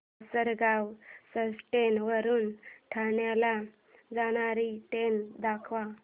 Lasalgaon station वरून ठाण्याला जाणारी ट्रेन दाखव